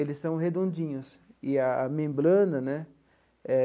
Eles são redondinhos e a membrana, né? Eh.